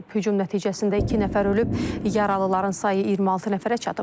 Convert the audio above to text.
Hücum nəticəsində iki nəfər ölüb, yaralıların sayı 26 nəfərə çatıb.